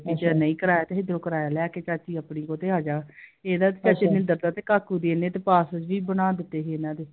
ਅੱਛਾ ਨਹੀਂ ਕਰਾਇਆ ਤੇ ਲਿਆਕੇ ਚਾਚੀ ਆਪਣੀ ਉਹ ਤੇ ਆਜਾ I ਇਹਦਾ ਤੇ ਹਰਜਿੰਦਰ ਦਾ ਤੇ ਕਾਕੂ ਦੇ ਇਹਨੇ ਤੇ passport ਵੀ ਬਣਾ ਦਿੱਤੇ ਸੀ ਇਹਨਾਂ ਦੇ I